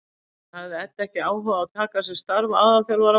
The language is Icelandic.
En hafði Edda ekki áhuga á að taka að sér starf aðalþjálfara Vals?